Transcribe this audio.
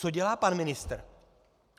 Co dělá pan ministr?